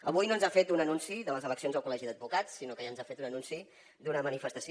avui no ens ha fet un anunci de les eleccions al col·legi d’advocats sinó que ja ens ha fet un anunci d’una manifestació